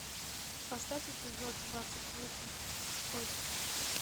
поставь эпизод двадцать восемь кости